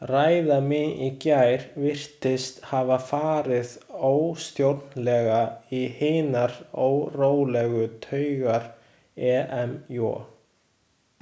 Ræða mín í gær virtist hafa farið óstjórnlega í hinar órólegu taugar EmJ.